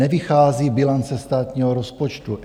Nevychází bilance státního rozpočtu.